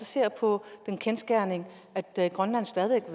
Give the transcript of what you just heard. ser på den kendsgerning at grønland stadig væk